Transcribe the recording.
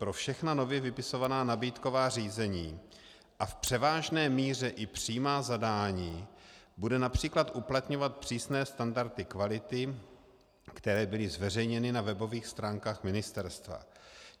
Pro všechna nově vypisovaná nabídková řízení a v převážné míře i přímá zadání bude například uplatňovat přísné standardy kvality, které byly zveřejněny na webových stránkách ministerstva.